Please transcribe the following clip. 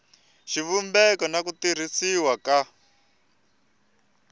xivumbeko n ku tirhisiwa ka